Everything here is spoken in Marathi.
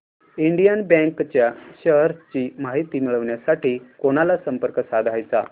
इंडियन बँक च्या शेअर्स ची माहिती मिळविण्यासाठी कोणाला संपर्क साधायचा